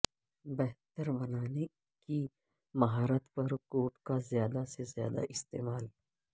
بہتر بنانے کی مہارت پر کوڈ کا زیادہ سے زیادہ استعمال